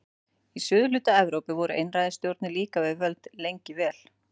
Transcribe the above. Í suðurhluta Evrópu voru einræðisstjórnir líka við völd lengi vel.